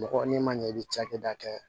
Mɔgɔ n'i ma ɲɛ i bɛ cakɛda kɛ